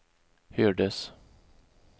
hördes